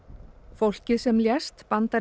fólkið sem lést bandarísk